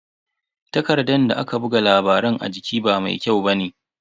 Takardan da aka buga labaran a jiki ba mai kyau bane.